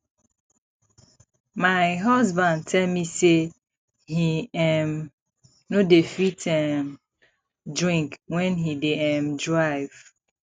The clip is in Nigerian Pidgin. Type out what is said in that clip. my husband tell me say he um no dey fit um drink wen he dey um drive